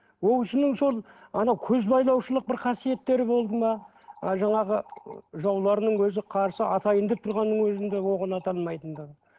ол кісінің сол анау көзбайлаушылық бір қасиеттері болды ма ы жаңағы жауларының өзі қарсы атайын деп тұрғанның өзінде оғын ата алмайтындығы